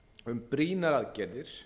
um brýnar aðgerðir